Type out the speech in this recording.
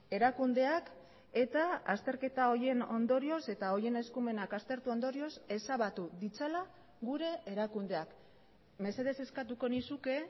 erakundeak eta azterketa horien ondorioz eta horien eskumenak aztertu ondorioz ezabatu ditzala gure erakundeak mesedez eskatuko nizuke